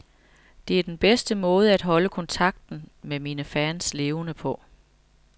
Det er den bedste måde at holde kontakten med mine fans levende på.